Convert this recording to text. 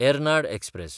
Ernad express